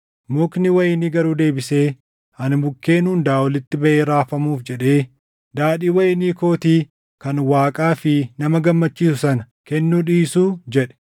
“Mukni wayinii garuu deebisee, ‘Ani mukkeen hundaa olitti baʼee raafamuuf jedhe daadhii wayinii kootii kan Waaqaa fi nama gammachiisu sana kennuu dhiisuu?’ jedhe.